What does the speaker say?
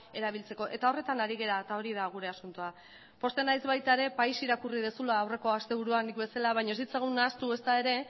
erabiltzeko eta horretan ari gara eta hori da gure asuntoa pozten naiz bata ere país irakurri duzula aurreko asteburuan nik bezala baina ez ditzagun nahastu ezta ere